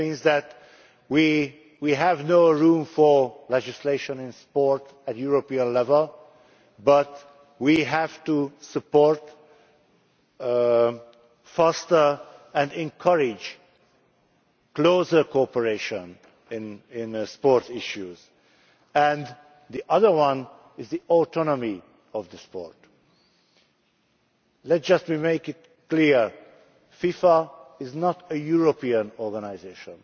That means that we have no room for legislation on sport at European level, but we have to support, foster and encourage closer cooperation in sport issues. The other one is the autonomy of the sport. Let me make this clear FIFA is not a European organisation.